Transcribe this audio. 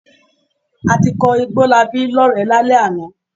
A ti kọ Igbólabí lọ́rẹ̀ẹ́ lálẹ́ àná.